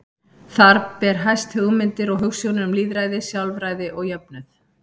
Þar ber hæst hugmyndir og hugsjónir um lýðræði, sjálfræði og jöfnuð.